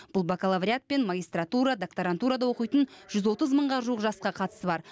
бұл бакалавриат пен магистратура докторантурада оқитын жүз отыз мыңға жуық жасқа қатысы бар